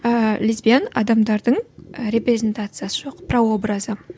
ііі лесбиян адамдардың репрезентациясы жоқ прообразы